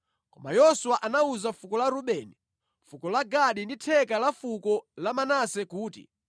Koma Yoswa anawuza fuko la Rubeni, fuko la Gadi ndi theka la fuko la Manase kuti,